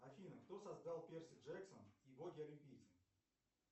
афина кто создал перси джексон и боги олимпийцы